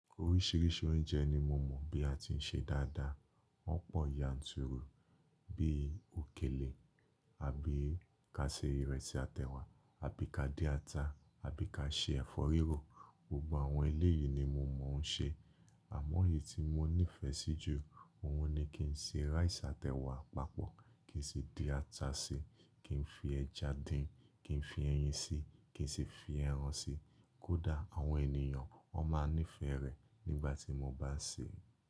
Oríṣiríṣi oúnjẹ ni mo mọ̀ bí a ti ń ṣe dáadáa. Wọ́n pọ̀ yanturu, bí i òkèlè, àbí ká ṣe ìrẹsì àtèwà, àbí ká dín ata, àbí ká ṣe ẹ̀fọ́ rírò. Gbogbo àwọn eléyìí ni mo mọ̀ ń ṣe. Àmọ́ èyí tí mo nífẹ̀ẹ́ sí jù, òun ni kí n se rice àtèwà papọ̀, kí n sì dín ata síi, kí n fi ẹja dín, kí n fi ẹyin síi, kí n sì fi ẹran síi. Kódà àwọn ènìyàn ó máa nífẹ̀ẹ́ rẹ̀ nígbà tí mo bá sè é.